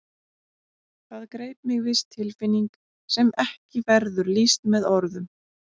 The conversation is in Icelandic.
Það greip mig viss tilfinning sem ekki verður lýst með orðum.